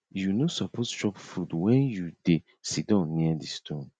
you no suppose chop food when you dey siddon near di stone